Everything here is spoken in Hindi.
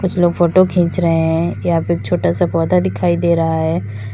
कुछ लोग फोटो खींच रहे हैं यहाँ पे एक छोटा सा पौधा दिखाई दे रहा है।